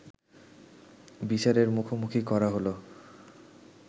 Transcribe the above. বিচারের মুখোমুখি করা হলো